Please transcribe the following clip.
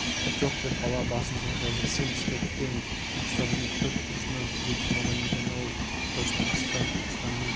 жоқ деп бала басын шайқайды сен пішпектен түркістанның төрт бұрышынан түгел жиналған екен-ау тұтас түркістан түркістанның